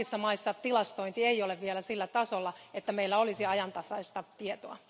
Kaikissa maissa tilastointi ei ole vielä sillä tasolla, että meillä olisi ajantasaista tietoa.